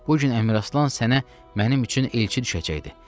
Bu gün Əmir Aslan sənə mənim üçün elçi düşəcəkdi.